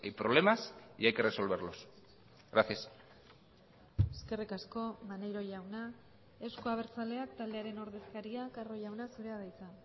problemas y hay que resolverlos gracias eskerrik asko maneiro jauna euzko abertzaleak taldearen ordezkaria carro jauna zurea da hitza